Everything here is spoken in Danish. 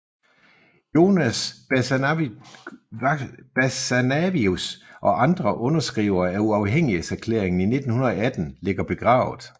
Jonas Basanavičius og andre underskrivere af uafhængighedserklæringen i 1918 ligger begravet